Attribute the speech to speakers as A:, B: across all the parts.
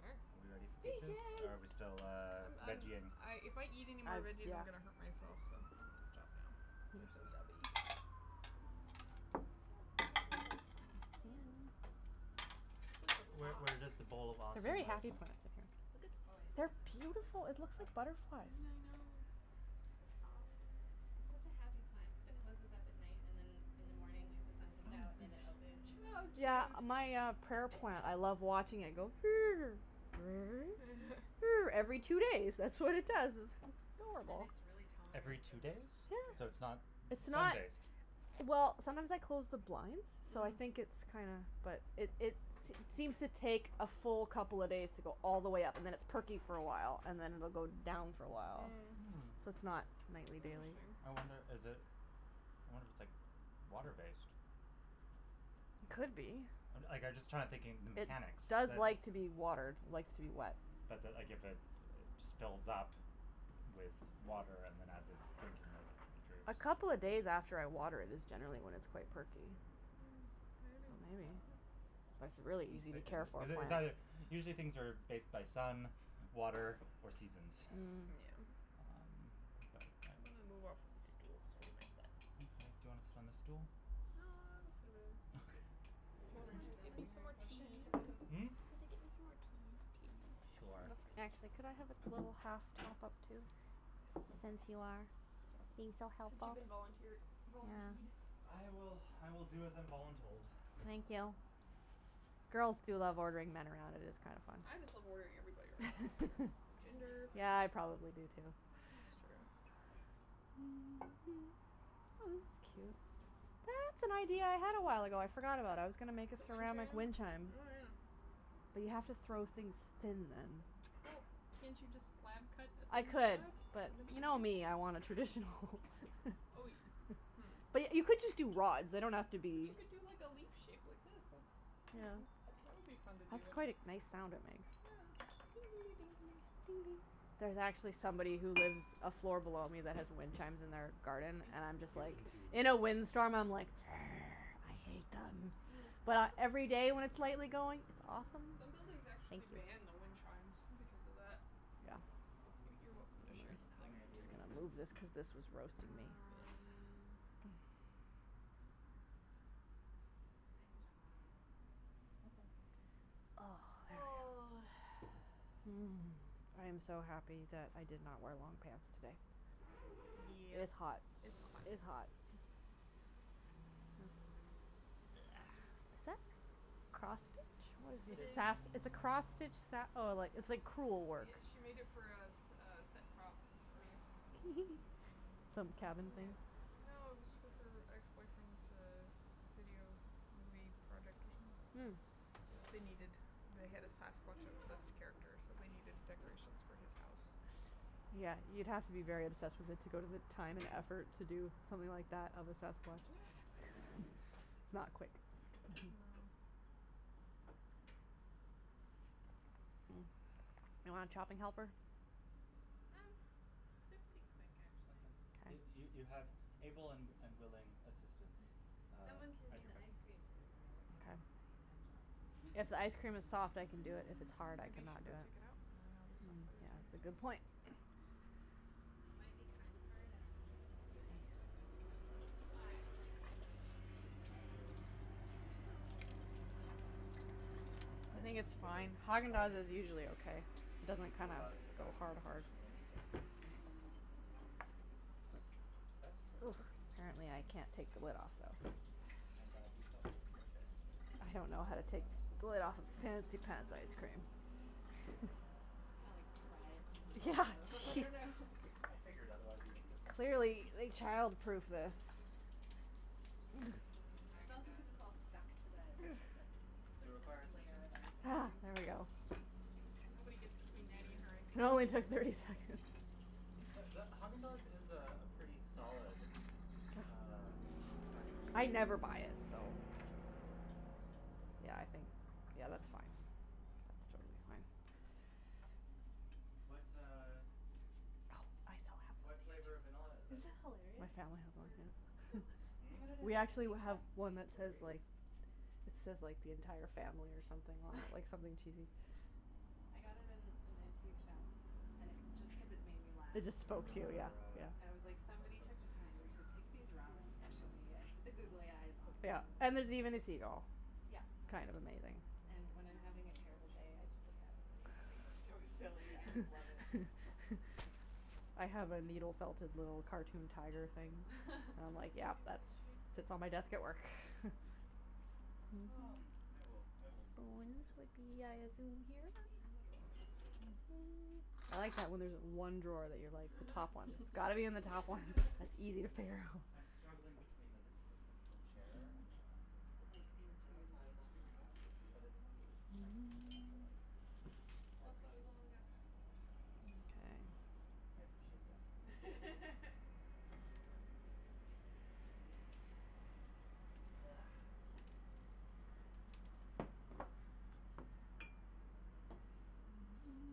A: Sure.
B: Are we ready for peaches? Or are we still,
C: Peaches.
B: uh,
C: I'm I'm
B: veggie ing?
C: if I eat anymore
D: I,
C: veggies, I'm going to hurt
D: yeah.
C: myself, so I'm going to stop now. They're so yummy.
B: Where where does the bowl of
D: They're
B: awesome
D: very
B: live?
D: happy plants in here.
A: Oh, it
D: They're
A: lives in the cupboard.
D: beautiful. It looks
B: Okay.
D: like butterflies.
C: I know. So soft.
A: It's such a happy plant cuz it closes up at night and then in the morning, like, the sun comes out and then it opens
C: Oh,
A: and
C: cute.
D: Yeah. My, uh, prayer plant, I love watching it go Every two days, that's what it does. It's
A: And
D: adorable.
A: it's really
B: Every
A: tolerant to,
B: two
A: like,
B: days? So
A: drought,
B: it's
D: Yeah.
B: not
D: It's
B: sun
D: not
A: like
B: based?
D: Well, sometimes I close the blinds, so I think it's
C: Mm.
D: kinda, but it it seems to take a full couple of days to go all the way up and then it's perky for a while and then it'll go down for a while,
B: Hmm.
D: so
C: Mm.
D: it's not nightly, daily.
C: Interesting.
B: I wonder, is it I wonder if it's, like, water based.
D: Could be.
B: Like I'm just trying to think the
D: It
B: mechanics
D: does
B: that it
D: like to be watered, likes to be wet.
B: But that, like, if it just fills up with water and then as its drinking it, it droops.
D: A couple of days after I water it is generally when it's quite perky.
C: Mm, maybe.
D: Maybe,
C: Yeah.
D: but it's a really easy to care for
B: Is it it's either
D: plant.
B: usually things are based by sun, water or seasons.
C: Yeah.
D: Mm.
B: Um, but
C: I'm
B: I'm
C: gonna move off of this stool's hurting my butt.
B: Okay, do you wanna sit on the stool?
C: No, I'll go sit over there.
B: Okay.
C: Would
A: We'll
C: you mind
A: enter the
C: getting me
A: living
C: some
A: room
C: more tea?
A: portion of
B: Mm?
C: Can you get me some more tea, please?
B: Sure.
D: Actually, could I have a little half top up, too? Since you are being so
C: Since you've
D: helpful.
C: been volunteered, volunteed.
D: Yeah.
B: I will, I will do as I'm voluntold.
D: Thank you. Girls do love ordering men around, it is kind of fun.
C: I just love ordering everybody around, I don't care.
A: I can make
C: Gender.
A: more,
D: Yeah,
A: too.
D: I probably do, too.
C: That's true.
D: Oh, this is cute. That's an idea I had a while ago. I forgot about. I was gonna make a
C: The wind
D: ceramic
C: chime?
D: wind chime.
C: Oh, yeah.
D: But you have to throw things thin then.
C: Well, can't you just slab cut a
D: I
C: thin
D: could,
C: slab?
D: but
C: Wouldn't
D: you know
C: that be
D: me, I want a
C: easier?
D: traditional
C: Oh, you
D: But
C: Hmm.
D: y- you could just do rods. They don't have to
C: But
D: be
C: you could do like a leaf shape like this. That's, I don't
D: Yeah.
C: know, that would be fun to do.
D: That's quite a nice sound it makes.
C: Yeah.
D: There's actually somebody who lives a floor below me that has wind chimes in their garden
C: Thank
D: and I'm just
B: You've
D: like
B: been teed.
D: In
C: you.
D: a wind storm, I'm like I hate them.
C: Mm.
D: But every day when it's lightly going, it's awesome.
C: Some buildings
D: Thank
C: actually
D: you.
C: ban the wind chimes because of that.
D: Yeah.
C: So, you you're welcome to share this
B: How
C: thing.
B: may I be of
D: Just gonna move
B: assistance?
D: this cuz this was roasting me.
C: Yes.
A: Um, I I can chop the peaches. It's pretty quick, so
B: Okay.
D: Oh,
C: Oh.
D: thanks. Mm. I am so happy that I did not wear long pants today.
C: Yeah,
D: It's hot.
C: it's hot.
D: It's hot. Is that cross stitch?
C: It
D: It's a
B: This
C: is.
D: sas- it's a cross stitch sa- oh, like it's like cruel work.
C: Yeah, she made it for a s- a set prop for
D: Some cabin thing?
C: Yeah. No, it was for her ex boyfriends, uh, video movie project or
D: Mm.
C: something. They needed the head of sasquatch obsessed character, so they needed decorations for his house.
D: Yeah, you'd have to be very obsessed with it to go to the time and effort to do something like that of a sasquatch.
C: Yeah.
D: It's not quick.
C: No.
D: Hmm. You want a chopping helper?
A: Um, they're pretty quick, actually.
B: Okay. You you you
D: Okay.
B: have able and and willing assistants, uh,
A: Someone can
B: at
A: be
B: your
A: the ice
B: beckon.
A: cream scooper, though, cuz
D: Okay.
A: I hate that job.
D: If ice cream is soft, I can do it. If it's hard, I
C: Maybe you should
D: cannot do
C: go
D: it.
C: take it out. And they'll
A: It
C: be soft by the
D: Yeah,
C: time
D: it's a good point.
A: it might be kind of hard, I don't know.
C: Hot. I do.
B: I
D: I
B: was
D: think it's
B: just going to
D: fine. Haagen Dazs is
B: silently
D: usually okay. It
B: tease
D: doesn't
B: you
D: kinda
B: about it
D: go
A: Yeah.
B: without
D: hard hard.
B: mentioning anything.
C: But the you wouldn't get to laugh as much,
B: That's
C: so.
D: Ooh,
B: true.
D: apparently I can't take the lid off, though.
B: I'm glad you felt comfortable sharing it.
D: I don't know
B: It
D: how to
B: was
D: take
B: more fun.
D: the lid off of fancy
C: I'm not
D: pants ice
C: actually
D: cream.
C: done. I was playing.
A: You kinda like pry it from
D: Yeah.
A: the bottom.
B: I figured, otherwise you wouldn't have continued.
D: Clearly they childproofed this.
C: Mm,
A: It's
C: Haagen
A: also cuz
C: Dazs.
A: it's all stuck to the, like, the
B: Do you require
A: first layer
B: assistance?
A: of ice
D: Ah,
A: cream.
D: there we go.
C: Nobody gets between Nattie and her ice
D: It
C: cream.
D: only took thirty seconds.
B: The the Haagen Dazs is a pretty solid, uh packaged
D: I never buy it, so
B: Yeah.
D: Yeah, I think Yeah, that's fine. That's totally fine.
B: Mm. What, uh,
D: Oh, I so have one
B: what flavor of vanilla
D: of
B: is it?
A: Isn't that
D: these. My
A: hilarious?
D: family
C: It's
D: has one,
C: berry vanilla.
D: yeah.
A: They
B: Hmm?
A: had it at
D: We
A: an
D: actually
A: antique
D: have
A: shop.
D: one that
C: Berry.
D: says,
B: Berry?
D: like,
B: Okay.
D: it says, like, the entire
C: I
D: family or
C: think,
D: something
C: that's
D: on
C: what I
D: it,
C: can
D: like
C: see
D: something
C: from here.
D: cheesy.
A: I got it in an antique shop and it just cuz it made me laugh.
D: It
B: Do
D: just
B: you
D: spoke
B: remember
D: to you,
B: what
D: yeah,
B: our,
D: yeah.
A: And it was
B: uh, our
A: like
B: our
A: somebody
B: post
A: took the time
B: feasting
A: to pick these rocks
B: activity is?
A: specially and put the googly eyes on
D: Yeah,
A: them
D: and
A: and
D: there's even a seagull.
A: Yeah.
D: Kind of amazing.
A: And when I'm
C: No, I
A: having a
C: don't know
A: terrible
C: if she
A: day,
C: has
A: I
C: a
A: just look
C: specific
A: at it
C: plan.
A: and it's so
B: Okay.
A: silly, I just love it.
B: We'll
D: I
B: figure it out.
D: have a needle felted little cartoon tiger
C: Are
D: thing.
C: you hot from the sun
D: I'm
C: on
D: like,
C: you? Do
D: yeah,
C: you want
D: that's
C: the shade this,
D: sits on my desk at
C: uh,
D: work.
C: curtain closed?
B: Um, I will, I will move in the
D: Spoons would be, I assume, here?
A: In the
B: near
A: drawer.
B: future.
C: Okay.
D: I
C: You look
D: like that,
C: you
D: when there's
C: look a little
D: one drawer that
C: roasting.
D: you're, like, the top one.
B: Just
D: It's
B: a
D: got to be in the top one.
B: tad.
D: It's easy to
B: I'm
D: figure out.
B: I'm struggling between the this is a comfortable chair and an uncomfortable
A: I like the
B: temperature.
C: Well,
A: interior of
C: that's
A: the
C: why I was
A: kitchen
C: offering to help
A: layout.
C: you, so you
B: But
C: wouldn't have to
B: it's
C: move.
B: it's nice to have natural light. I
C: Well, that's why I was
B: appreciate
C: only gonna close this one.
D: Mkay.
B: I appreciate the offer. Thank you.
C: You're welcome.
B: Ah.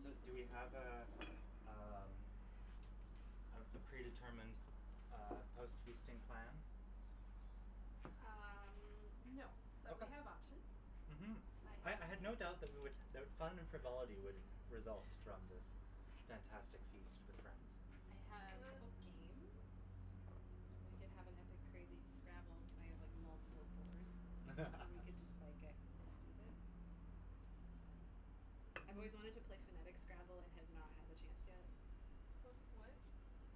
B: So, do we have a, um, a a predetermined uh post feasting plan?
A: Um, no, but we
B: Okay.
A: have options.
B: Mhm.
A: I
B: I
A: have
B: I had no doubt that we would that fun and frivolity would result from this fantastic feast with friends.
A: I have a
C: Uh.
A: couple games. We can have an epic, crazy Scrabble. Cuz I have, like, multiple boards and we can just, like, get stupid. Um, I've always wanted to play phonetic Scrabble and have not had the chance yet.
C: What's what?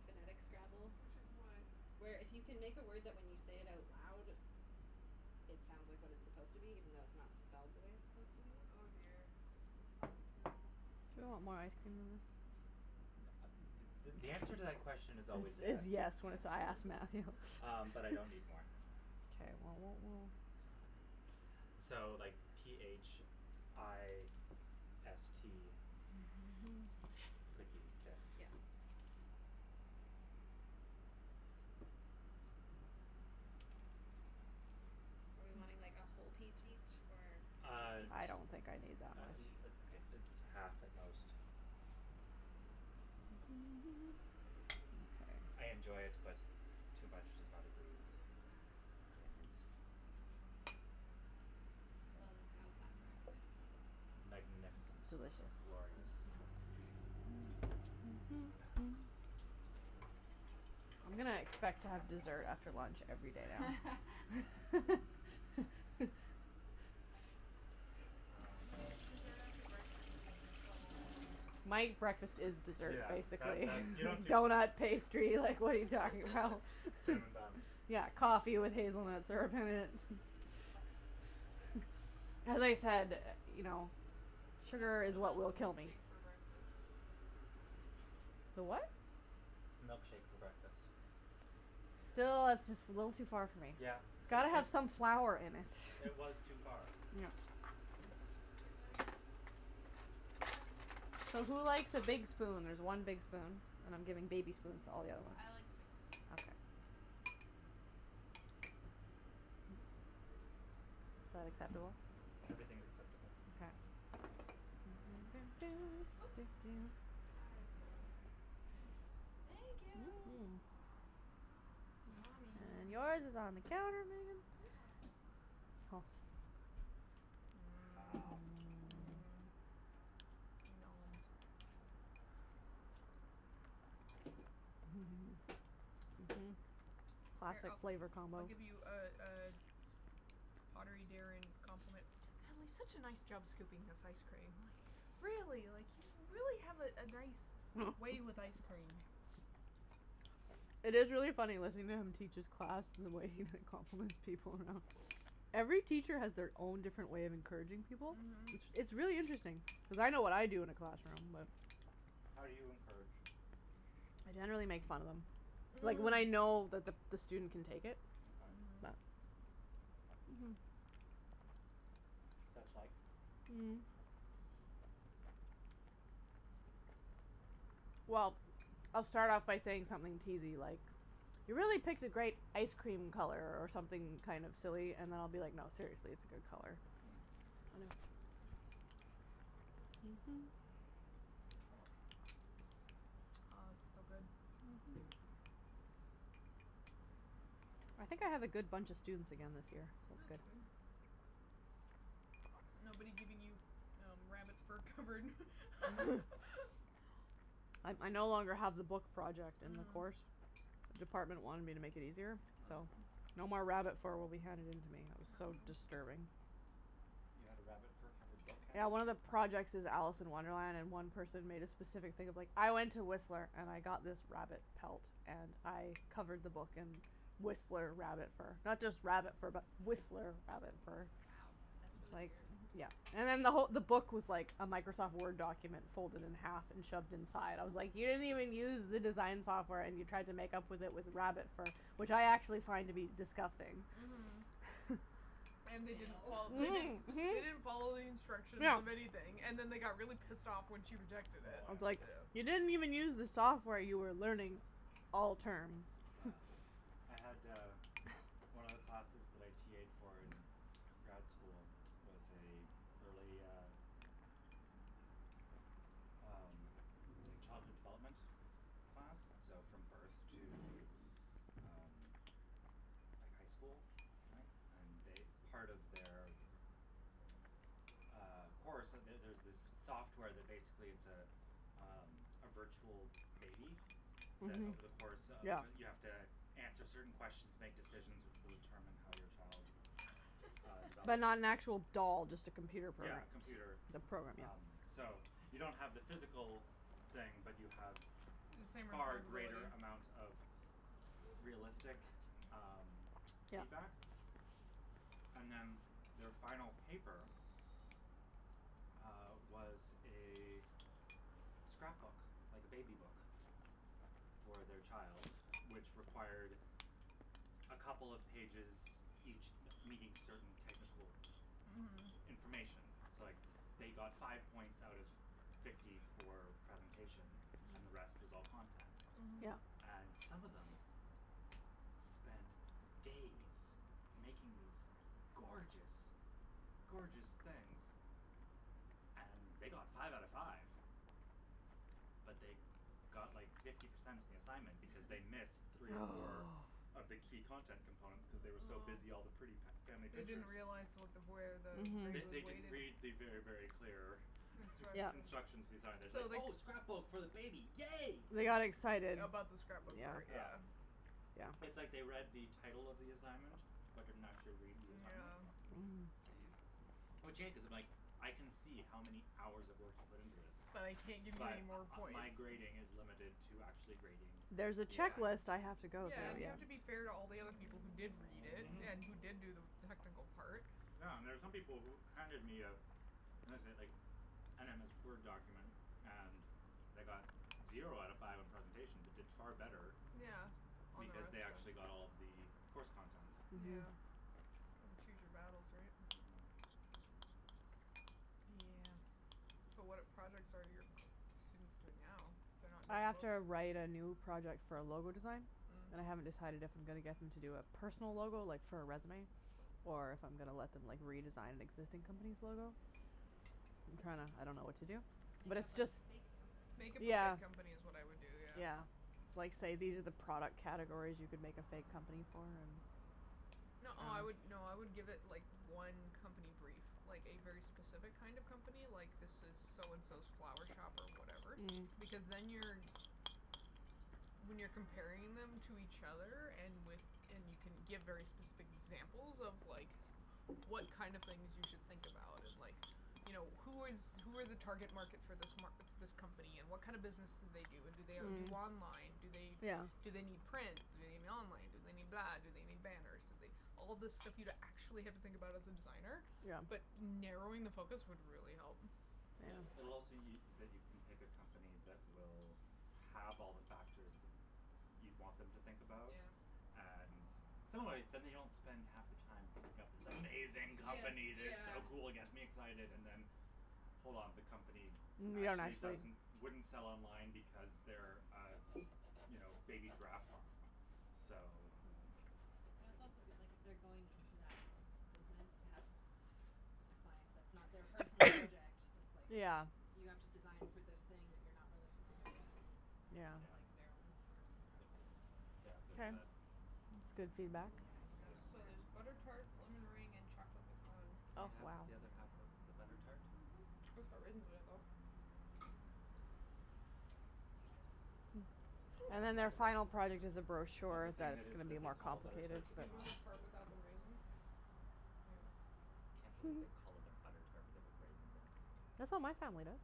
A: Phonetic Scrabble.
C: Which is what?
A: Where if you can make a word that when you say it out loud it sounds like what it's supposed to be even though it's not spelled the way it's supposed to be.
C: Oh, dear, that sounds terrible.
D: You want more ice cream than this?
B: Th- th- the answer to that question is always
D: Is is
B: yes.
D: yes when it's I ask Matthew.
B: Um, but I don't need more.
D: K, well, what we'll
B: Um, so, like, p h i s t could be fist?
A: Yeah. Are we wanting, like, a whole peach each or half a
B: Uh
A: peach?
D: I don't think I need that
B: uh
D: much.
B: uh a
A: Okay.
B: half at most. I I
D: Mkay.
B: enjoy it, but too much does not agree with
A: Ah.
B: my innards.
A: Well then, how's that for everybody?
B: Magnificent.
D: Delicious.
B: Glorious. Ah.
D: I'm gonna expect to have dessert after lunch every day now.
B: Yes.
C: Yeah,
B: Um
C: when you get to dessert after breakfast, it's next level, Nattie.
D: My breakfast is dessert,
B: Yeah, that
D: basically.
B: that's You don't do
D: Donut, pastry, like, what are you talking about?
B: Cinnamon bun.
D: Yeah, coffee with hazelnut syrup in it.
B: Mhm.
D: As I said, you know,
C: What
D: sugar
C: what
D: is what
C: about the
D: will kill me.
C: milkshake for breakfast?
D: The what?
B: Milkshake for breakfast.
C: Yeah.
D: Still, that's just a little too far for me.
B: Yeah,
D: It's
B: it
D: got to
B: it
D: have some flour in it.
B: It was too far.
D: Yeah.
C: You all right, Meg?
D: So, who likes a big spoon? There's one big spoon and I'm giving baby spoons to all the other ones.
C: I like the big spoon.
D: Okay. Is that acceptable?
B: Everything's acceptable.
D: K.
A: Oop. Sorry.
C: Thank you.
D: Mm mm.
C: On me.
D: And yours is on the counter, Meagan.
A: Yeehaw.
C: Mmm. Mmm.
D: Mmm.
C: Noms.
D: Noms. Mhm. Mhm.
C: Here, I
D: Classic flavor
C: I'll
D: combo.
C: give you a a pottery daring compliment. Natalie, such a nice job scooping this ice cream. Really, like, you really have a a nice way with ice cream.
D: It is really funny listening to him teach his class and the way he like compliments people, you know. Every teacher has their own different way of encouraging people. It's
C: Mhm.
D: it's really interesting. Cuz I know what I do in a classroom, but
B: How do you encourage?
D: I generally make fun of them. Like when I know that the the student can take it.
B: Okay.
C: Mhm.
D: But
B: Such like?
D: Mm. Well, I'll start off by saying something teasey, like, you really picked a great ice cream color, or something kind of silly. And I'll be like, no, seriously, it's a good color.
B: Mhm. Too much.
C: Oh this is so good.
D: I think I have a good bunch of students again this year, so it's
C: That's
D: good.
C: good. Nobody giving you rabbit fur covered
D: I I no longer have the book project in the
C: Mm.
D: course. Department wanted me to make it easier,
C: You're
D: so
C: welcome.
D: no more rabbit fur will be handed in to me. That was
C: That's
D: so
C: cool.
D: disturbing.
B: You had a rabbit fur covered book
D: Yeah, one of the projects is Alice in Wonderland, and one person made a specific thing of like, I went to Whistler and I got this rabbit pelt and I covered the book in Whistler rabbit fur. Not just rabbit fur but Whistler rabbit fur.
A: Wow, that's
D: It's
A: really
D: like,
A: weird.
D: yeah And then the who- the book was like a Microsoft Word document folded in half and shoved inside. I was like, you didn't even use the design software and you tried to make up with it with rabbit fur, which I actually find to be disgusting.
C: Mhm. And they didn't
A: Fail.
C: fol- they didn't
D: Mhm,
C: they didn't follow
D: mhm.
C: the instructions
D: Yeah.
C: of anything and then they got really pissed off when she rejected it,
B: Oh,
D: I was
B: yeah.
D: like, you
C: yeah.
D: didn't even use the software you were learning all term.
B: Yeah. I had, uh, one of the classes that I TA'ed for in grad school was a early, uh, um, like, childhood development class, so from birth to, um, like, high school, I think. And they part of their, uh, course So there's this software that basically it's a, um, a virtual baby that
D: Mhm.
B: over the course of
D: Yeah.
B: You have to answer certain questions, make decisions which will determine how your child, uh,
D: But
B: develops.
D: not an actual doll, just a computer
B: Yeah,
D: program.
B: computer,
D: The program,
B: um,
D: yeah.
B: so you don't have the physical thing, but you have
C: The same
B: far greater
C: responsibility.
B: amount of
A: This is the
B: realistic,
A: half chair.
B: um,
D: Yeah.
B: feedback. And then their final paper uh, was a scrapbook, like a baby book for their child, which required a couple of pages, each me- meeting certain technical
C: Mhm.
D: Mhm.
B: information. So, like, they got five points out of fifty for presentation and the rest
A: Mm.
B: was all content.
C: Mhm.
D: Yeah.
B: And some of them spent days making these gorgeous, gorgeous things and they got five out of five But they got like fifty percent on the assignment because they missed three or four
D: Oh.
B: of the key content components cuz they were so busy all the pretty
C: Oh.
B: fa- family
C: They didn't
B: pictures.
C: realize
A: Hmm.
C: what the where the
B: They
C: grade was
B: they
D: Mhm.
B: didn't
C: weighted.
B: read the very, very clear
D: Yeah.
C: Instructions.
B: instructions design. It was like,
C: So they c-
B: "Oh, scrapbook for the baby, yay!"
D: They got excited.
C: About the scrapbook part,
B: Yeah.
D: Yeah.
C: yeah.
B: It's like they read the
D: Yeah.
B: title of the assignment, but didn't actually read the assignment.
C: Yeah.
A: Hmm.
C: Geez.
B: Which, yeah, cuz if, like, I can see how many hours of work you put into this,
C: But I can't give you any
B: but
C: more
B: uh
C: points.
B: my grading is limited to actually grading
D: There's a
B: the assignment.
D: checklist I have
C: Yeah.
D: to go
C: Yeah,
B: Yeah.
D: through
C: and you
D: here.
C: have to be fair to all the other people who did read it
B: Mhm.
C: and who did do the technical part.
B: Yeah, and there's some people who handed me a what is it, like, an MS Word document and they got zero out of five on presentation but did far better
C: Yeah, on the
B: because
C: rest
B: they
C: of
B: actually
C: it.
B: got all of the course content.
D: Mhm.
C: Yeah. Kind of choose your battles, right?
B: Mhm.
D: Yeah.
C: Yeah. So, what projects are your students doing now? They're not
D: I
C: doing a
D: have
C: book?
D: to write a new project for a logo design, and I haven't
C: Mm.
D: decided if I'm gonna get them to do a personal logo, like, for a resume, or if I'm gonna let them, like, redesign an existing company's logo. I'm trying to I don't know what to do. But
A: Make
D: it's
A: up a
D: just
A: fake
C: Make
A: company.
C: up a
D: Yeah.
C: fake company is what I'd do, yeah.
D: Yeah. Like, say these are the product categories you can make a fake company for and
C: No, I would, no, I would give it, like, one company brief, like a very specific kind of company, like, this is so and so's flower shop or whatever because
D: Mm.
C: then you're When you're comparing them to each other and with and you can give very specific examples of, like, what kind of things you should think about and, like, you know, who is who are the target market for this m- this company and what kind of business do they do and do they do
D: Mm.
C: online, do they
D: Yeah.
C: do they need print, do they need online, do they need that, do they need banners, do they All this stuff you'd actually have to think about as a designer,
D: Yeah.
C: but narrowing the focus would really help.
D: Yeah.
B: It it'll also y- that you can pick a company that will have all the factors that you'd want them to think about.
C: Yeah.
B: And so, anyway, then they don't spend half the time thinking up this amazing
C: Yes,
B: company that's
C: yeah.
B: so cool, gets me excited and then hold on, the company
D: Yeah, and
B: actually
D: actually
B: doesn't wouldn't sell online because they're a, you know, a baby giraffe farm, so
A: Hmm. And
B: I
A: it's
B: think
A: also
B: that
A: good,
B: that
A: like, if they're going into that business to have a client that's not their personal project that's, like,
D: Yeah.
A: you have to design for this thing that you're not really familiar with,
D: Yeah.
A: it's not
B: Yeah.
A: like their own personal
B: Y-
A: preference into it.
B: yeah, there's
D: Okay.
B: that.
D: That's good
A: Oh,
D: feedback.
A: yeah, I forgot
C: There's
A: about the
C: so there's butter
A: tarts.
C: tart, lemon meringue and chocolate pecan.
B: Can
D: Oh,
B: I have
D: wow.
A: Oh,
B: the other half of the
A: yeah.
B: butter tart?
C: Mm mhm. It's got raisins in it, though.
D: Hmm.
B: Can I
D: And
B: have a
D: then their
B: bite of it,
D: final product is a
B: of the
D: brochure
B: thing that
D: that's gonna be
B: that they
D: more
B: call a butter
D: complicated,
B: tart that's
D: but
C: You want
B: not?
C: the part without the raisin? There you
B: I
C: go.
B: can't believe they call it a butter tart but they put raisins in it.
D: That's what my family does.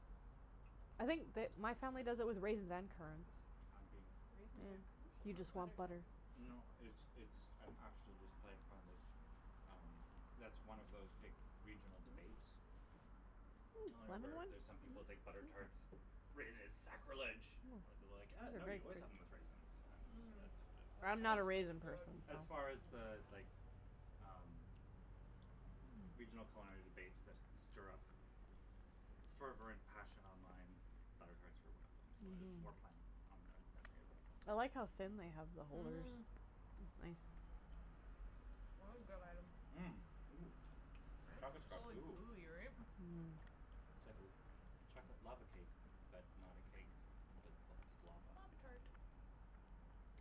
D: I think the my family does it
B: I
D: with raisins and currants.
B: I'm being
A: Raisins are
D: Yeah.
A: crucial
D: Do you
B: Or-
A: to
D: just
B: n-
D: want
A: butter
D: butter.
A: tarts.
B: No, it's it's, I'm actually just playing fun that, um that's one of those big regional
C: Mhm.
B: debates,
D: Mm, lemon
B: where
D: one?
B: there's some people think
C: Mhm.
B: butter tarts, raisins is
D: Oh,
B: sacrilege. I would be like, uh
D: these
B: no,
D: are very
B: you
D: good.
B: always have them with raisins.
C: Mm.
B: And
C: That
D: I'm
B: as
D: not a
C: chocolate one is
D: raisin
C: good.
D: person, so
B: as
A: Oh,
B: far as
A: my
B: the,
A: god.
B: like, um, regional
D: Mm.
B: culinary debates that stir up fervent passion online, butter tarts were one of them, so I was
D: Mhm.
B: more playing on the memory of the thing.
D: I like how thin they have the holders.
C: Mhm. That is good item.
B: Mmm. Ooh,
C: Right.
B: chocolate's
C: It's
D: Right?
B: got
C: all
B: goo.
C: gooey, right?
D: Mmm.
B: It's like a chocolate lava cake but not a cake but lots of lava.
C: Lava tart.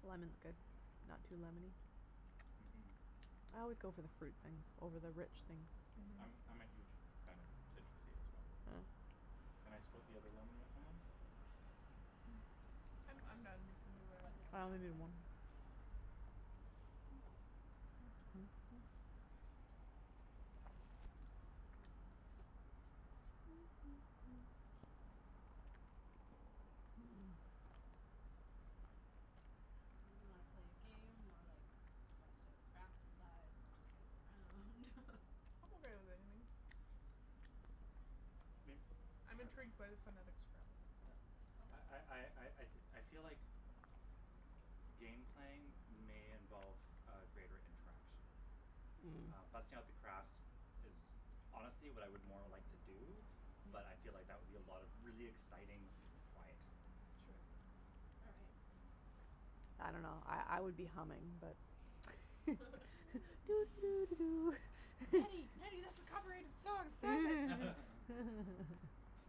D: Lemon's good. Not too lemony.
B: Mhm.
D: I always go for the fruit things over the rich things.
C: Mhm.
B: I'm I'm a huge
A: Mm.
B: fan of citrusy as well.
D: Yeah.
B: Can I split the other lemon with someone?
C: I'm
A: I'll
C: I'm
A: have
C: done. Do
A: I'll
C: whatever.
A: have the
D: I
A: other
D: only
A: half of
D: need
A: it.
D: one.
A: Oh, my god. So, do we wanna play a game or, like, bust out craft supplies and just goof around?
C: I'm okay with anything.
B: May-
C: I'm
B: par-
C: intrigued by the phonetic Scrabble.
B: yeah I I
A: Okay.
B: I I I feel like game playing may involve a greater interaction. Um,
D: Mm.
B: busting out the crafts is honestly what I would more like to do, but I feel like that would be a lot of really exciting quiet.
A: True. All right.
D: I don't know, I I would be humming, but
C: Nattie, Nattie, that's a copyrighted song, stop it!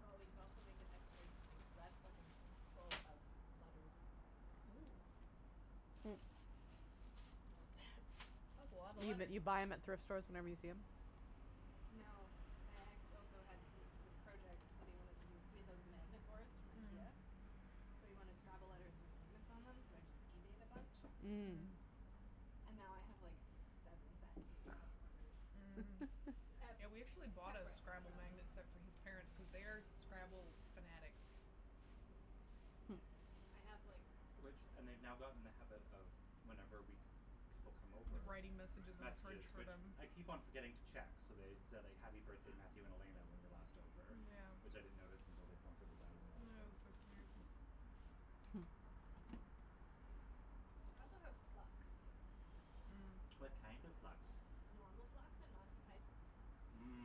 A: Well, we could also make it extra interesting cuz that's fucking full of letters.
C: Ooh.
A: So is that.
C: That's a lotta
D: You but
C: letters.
D: you buy them at thrift stores whenever you see them?
A: No, my ex also had he this project that he wanted to do. So he had those magnet boards from
C: Mm.
A: Ikea,
D: Mm.
A: so he wanted Scrabble letters with magnets on them, so I just eBayed a bunch
D: Mm.
C: Mm.
A: and now I have, like, seven sets of Scrabble letters.
C: Mhm.
A: S- ep-
C: Yeah, we actually bought a
A: separate
C: Scrabble
A: from.
C: magnet set for his parents cuz they are Scrabble fanatics.
D: Hmm.
A: I have, like
B: Which and they've now gotten in the habit of, whenever we c- people come over,
C: Writing messages on the fridge
B: messages
C: for
B: which
C: them.
B: I keep on forgetting to check, so they said "happy birthday, Matthew and Elena" when we were last over, which
C: Yeah.
B: I didn't notice until they pointed it out on the last
C: That was
B: day.
C: so cute.
D: Hmm.
A: I also have Flux, too, if we want to play
B: What
C: Mm.
A: that.
B: kind of Flux?
A: Normal Flux and Monty Python Flux.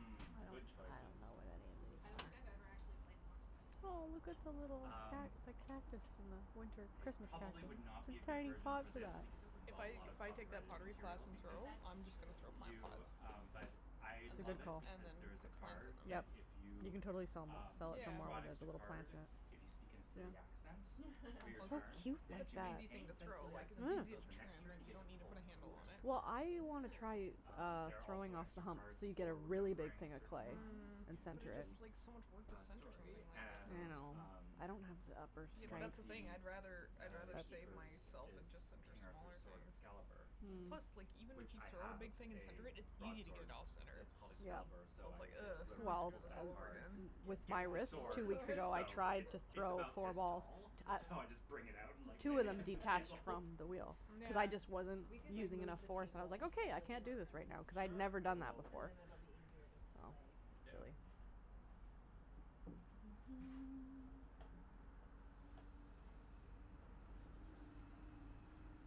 D: I don't
B: good
D: I
B: choices.
D: don't know what any
A: I don't think
D: of
A: I've
D: these
A: ever
D: are.
A: actually played the Monty Python Flux on
D: Oh, look
A: this
D: at the little ca-
B: Um,
A: thing.
D: the cactus in the winter
B: it
D: Christmas
B: probably would not
D: cactus.
B: be a good
D: Tiny
B: version
D: pot
B: for
D: for
B: this because it
D: that.
B: would
C: If
B: involve a
C: I
B: lot
C: if
B: of
C: I take that
B: copyrighted
C: pottery class
B: material
C: in
B: because
C: Turo,
A: That's
C: I'm just going
A: true.
C: to throw plant
B: you,
C: pots
B: um, but I
C: and
D: That's a
B: love
C: then
D: good
B: it
D: call.
C: and
B: because
C: then
B: there is a
C: put plants in
B: card
C: them.
B: that
D: Yep.
B: if
D: You
B: you,
D: can totally sell them
B: um,
D: sell
B: you
D: it
B: have
D: for
B: to
D: more
B: draw an
D: when there's a
B: extra
C: Yeah.
D: little plant
B: card,
D: in it.
B: if you speak in a silly accent
C: They're
B: for your
C: so
D: It's so
B: turn
C: cute,
D: cute
B: And
D: like
B: if
C: such
B: you
C: an
D: that.
C: easy thing
B: maintain
C: to
B: said
C: throw,
B: silly
C: like, it's
B: accent
D: Mm.
C: easier
B: until
C: to
B: the next
C: turn, right,
B: turn, you
C: you
B: get to
C: don't need to
B: pull
C: put a handle
B: two
C: on it.
B: extra
D: Well,
B: cards.
D: I wanna try,
A: Oh.
B: Um,
D: uh,
B: there are also
D: throwing off the
B: extra
D: hump
B: cards
D: so you get a
B: for
D: really big
B: remembering a
D: thing of
B: certain
D: clay
B: lines
C: Mm,
D: and
B: in
C: but it
D: center it.
C: just, like, so much work
B: the,
C: to
B: uh,
C: center something
B: story
C: like that,
B: and,
C: though.
D: I know.
B: um
D: I don't have the upper
C: Yeah, but
B: One of
D: strength.
C: that's the thing.
B: the,
C: I'd rather
B: uh,
C: I'd rather save
B: keepers
C: myself
D: That's
B: is
C: and just center
B: King Arthur's
C: smaller
B: sword,
C: things.
B: Excalibur,
D: Mm.
C: Plus, like,
A: Mhm.
C: even if
B: which
C: you
B: I
C: throw a
B: have
C: big thing and center
B: a
C: it, it's easy to get
B: broadsword
C: it off center,
B: that's called
D: Yeah.
B: Excalibur,
C: so
B: so
C: it's
B: I
C: like,
B: always say that
C: oh, I
B: whoever
C: have
D: Well,
C: to do
B: pulls
C: this all
B: that
C: over
B: card
C: again.
D: with
A: Gets
D: my
B: gets
A: the
B: the
D: wrist,
A: actual
D: two
B: sword,
D: weeks
A: sword.
D: ago I
B: so
D: tried
B: it
D: to
B: it's
D: throw
B: about
D: four
B: this
D: balls.
B: tall, so I just
A: Yeah.
B: bring it out and, like, lay
D: Two
B: it
D: of them
B: against the
D: detached
B: table.
D: from the wheel cuz I just wasn't
B: Um.
A: We
C: Yeah.
A: could, like,
D: using enough
A: move the
D: force. I was
A: table
D: like,
A: into
D: okay,
A: the
D: I can't
A: living
D: do this right
A: room.
D: now, cuz I had
B: Sure,
D: never
B: I
D: done that
B: will
A: And
D: before.
A: then it'll be easier to
D: So,
A: play.
B: Yeah.
D: silly.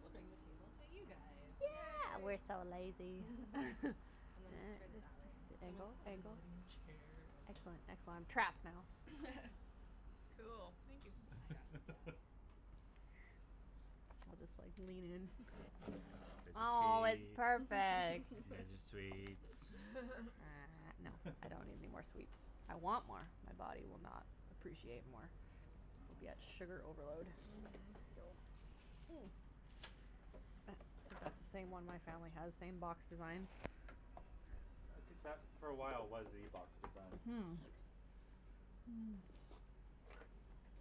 A: We'll bring the table to you guys.
D: Yeah, we're
C: Yay.
D: so lazy.
A: And then just turn it that way. Someone
D: Angle,
A: can sit in the
D: angle.
A: living room chair and
D: Excellent, excellent, trapped now.
C: Cool. Thank you.
A: Now you're stuck.
D: I'll just like lean in.
B: There's
D: Oh,
B: your
D: it's
B: tea.
D: perfect.
B: There's your sweets.
D: uh-huh, no, I don't need anymore sweets. I want more. My body will not appreciate more. It'll
B: Oh.
D: be at sugar overload.
C: Mhm.
D: That's the same one my family has, same box design.
B: I think that for a while was the box design.
D: Hmm.